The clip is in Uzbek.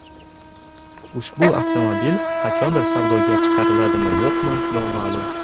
Ushbu avtomobil qachondir savdoga chiqariladimi, yo‘qmi noma’lum.